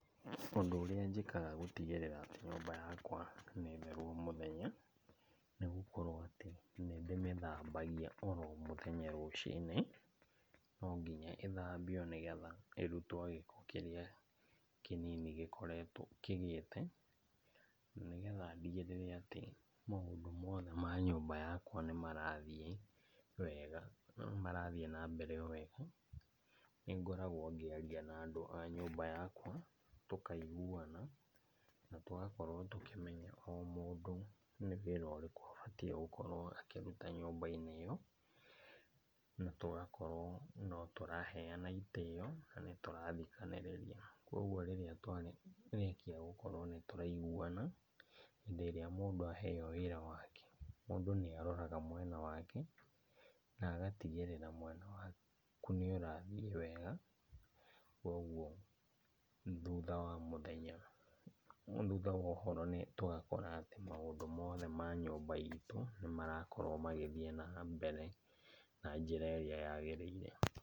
Ũndũ ũrĩa njĩkaga gũtigĩrĩra atĩ nyũmba yakwa nĩ theru o mũthenya, nĩ gũkorwo atĩ nĩndĩmĩthambagia oro mũthenya rũcinĩ. Nonginya ĩthambio nĩgetha ĩrutwo gĩko kĩrĩa kĩnini gĩkoretwo, kĩgĩte, na nĩgetha ndigĩrĩre atĩ maũndũ mothe ma nyũmba yakwa nĩmarathiĩ wega, nĩmarathiĩ na mbere o wega. Nĩngoragwo ngĩaria na andũ a nyũmba yakwa, tũkaiguana na tũgakorwo tũkĩmenya o mũndũ nĩ wĩra ũrĩkũ abatiĩ gũkorwo akĩruta nyũmba-inĩ ĩo. Na tũgakorwo notũraheana itĩo, nanĩtũrathikanĩrĩria. Koguo rĩrĩa twarĩkia gũkorwo nĩtũraiguana, hĩndĩ ĩrĩa mũndũ aheo wĩra wake, mũndũ nĩ aroraga mwena wake na agatigĩrĩra mwena waku nĩũrathiĩ wega. Koguo thutha wa mũthenya, thutha wa ũhoro nĩtũgakora atĩ maũndũ mothe ma nyũmba itũ nĩmarakorwo magĩthiĩ na mbere na njĩra ĩrĩa yagĩrĩire.